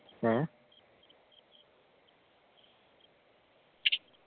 ഏർ